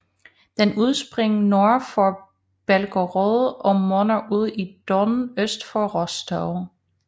Den udspringer nord for Belgorod og munder ud i Don øst for Rostov